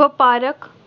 ਵਪਾਰਕ